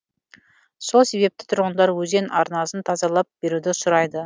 сол себепті тұрғындар өзен арнасын тазалап беруді сұрайды